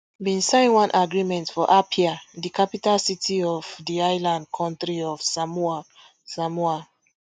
bin sign one agreement for apia di capital city of di island kontri of samoa samoa